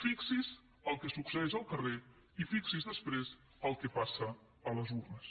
fixi’s en el que succeeix al carrer i fixi’s després en el que passa a les urnes